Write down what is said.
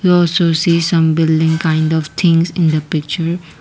those who see some building kind of things in the picture.